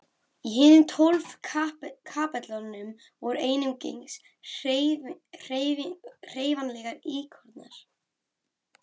Í hinum tólf kapellunum voru einungis hreyfanlegir íkonar.